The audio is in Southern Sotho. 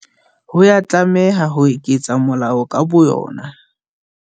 Ha ya tlameha ho iketsa molao ka bo yona.